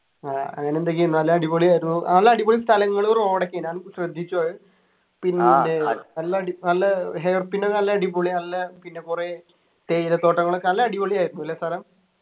ആഹ് അങ്ങനെ എന്തൊക്കെയോ നല്ല അടിപൊളിയായിരുന്നു നല്ല അടിപൊളി സ്ഥലങ്ങള് road ഒക്കെയാണ് ഞാൻ ശ്രദ്ധിച്ചു അത് പിന്നെ നല്ല അടി നല്ല hair pin ഒക്കെ നല്ല അടിപൊളി നല്ല പിന്നെ കുറെ തേയിലത്തോട്ടങ്ങളൊക്കെ നല്ല അടിപൊളിയായിരുന്നു അല്ലെ സ്ഥലം